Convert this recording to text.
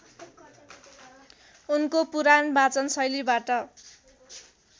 उनको पुराण वाचनशैलीबाट